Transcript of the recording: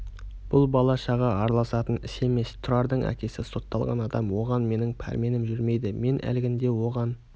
бұл бала-шаға араласатын іс емес тұрардың әкесі сотталған адам оған менің пәрменім жүрмейді мен әлгінде оған